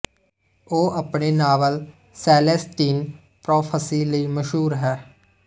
ਉਹ ਆਪਣੇ novel Celestine Prophecy ਲਈ ਮਸ਼ਹੂਰ ਹੈ